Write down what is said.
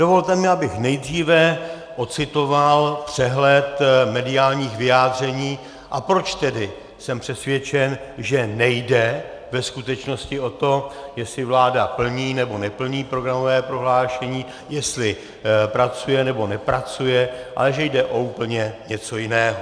Dovolte mi, abych nejdříve ocitoval přehled mediálních vyjádření, a proč jsem tedy přesvědčen, že nejde ve skutečnosti o to, jestli vláda plní nebo neplní programové prohlášení, jestli pracuje nebo nepracuje, ale že jde o úplně něco jiného.